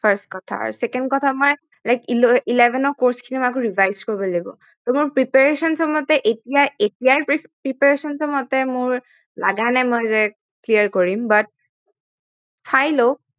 first কথা আৰু second কথা মই eleven ৰ course খিনিও আকৌ revise কৰিব লাগিব মোৰ preparation টোৰ মতে এতিয়া এতিয়াই preparation টোৰ মতে মোৰ লাগা নাই মই যে clear কৰিম